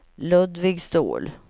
Ludvig Ståhl